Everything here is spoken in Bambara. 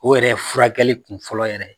O yɛrɛ ye furakɛli kun fɔlɔ yɛrɛ